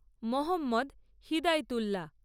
Mohammad Hidayatullah